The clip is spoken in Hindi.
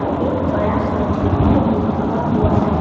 और एक बड़ा सा झूमर भी टंगा हुआ है।